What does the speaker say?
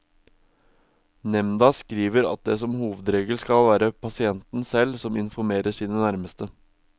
Nemnda skriver at det som en hovedregel skal være pasienten selv som informerer sine nærmeste.